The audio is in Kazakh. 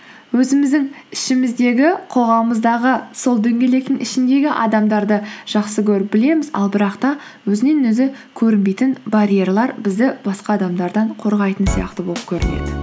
өзіміздің ішіміздегі қоғамымыздағы сол дөңгелектің ішіндегі адамдарды жақсы көріп білеміз ал бірақ та өзінен өзі көрінбейтін барьерлер бізді басқа адамдардан қорғайтын сияқты болып көрінеді